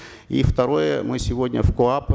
и второе мы сегодня в коап